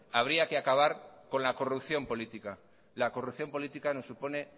habría que acabar con la corrupción política la corrupción política nos supone